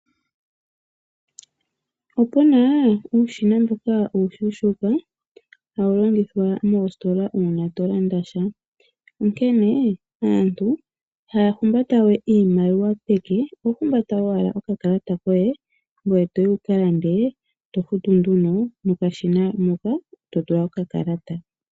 Opuna uushina mboka uushuushuka hawu longithwa moositola uuna to landa sha. Onkene aantu ihaya humbata we iimaliwa peke, oho humbata owala oka kalata koye ngoye toyi wu kalande to futu nduno no kashina moka to tula okakalata.